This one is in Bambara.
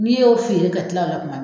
N'i y'o feere ka tila o la kuma